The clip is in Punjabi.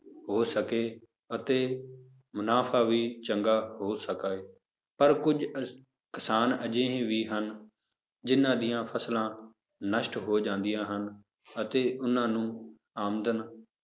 ਹੋ ਸਕੇ ਅਤੇ ਮੁਨਾਫ਼ਾ ਵੀ ਚੰਗਾ ਹੋ ਸਕੇ, ਪਰ ਕੁੱਝ ਕਿਸਾਨ ਅਜਿਹੇ ਵੀ ਹਨ, ਜਿੰਨਾਂ ਦੀਆਂ ਫਸਲਾਂ ਨਸ਼ਟ ਹੋ ਜਾਂਦੀਆਂ ਹਨ, ਅਤੇ ਉਹਨਾਂ ਨੂੰ ਆਮਦਨ